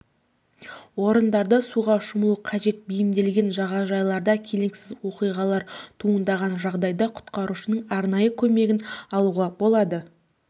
орындарда суға шомылу қажет бейімделген жағажайларда келеңсіз оқиғалар туындаған жағдайда құтқарушының арнайы көмегін алуға болады